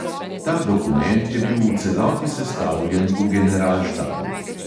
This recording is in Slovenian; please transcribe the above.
Ta dokument je bil v celoti sestavljen v generalštabu.